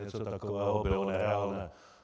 Něco takového bylo nereálné.